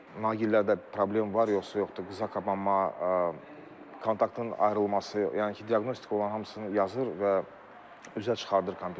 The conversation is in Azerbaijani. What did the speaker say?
Naqillərdə problem var, yoxsa yoxdur, qısaqapanma, kontaktın ayrılması, yəni ki, diaqnostika olan hamısını yazır və üzə çıxardır kompüterdən.